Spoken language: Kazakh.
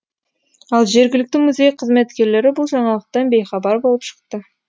ал жергілікті музей қызметкерлері бұл жаңалықтан бейхабар болып шықты